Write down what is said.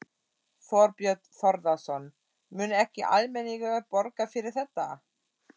Þorbjörn Þórðarson: Mun ekki almenningur borga fyrir þetta?